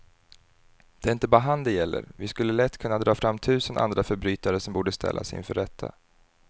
Det är inte bara han det gäller, vi skulle lätt kunna dra fram tusen andra förbrytare som borde ställas inför rätta.